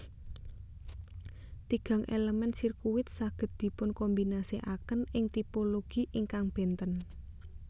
Tigang elemen sirkuit saged dipunkombinasikaken ing tipologi ingkang benten